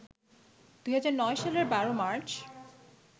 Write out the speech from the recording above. ২০০৯ সালের ১২ মার্চ